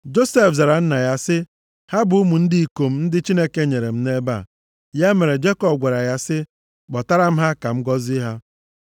Josef zara nna ya sị, “Ha bụ ụmụ ndị ikom ndị Chineke nyere m nʼebe a.” Ya mere, Jekọb gwara ya sị, “Kpọtara m ha, ka m gọzie ha.”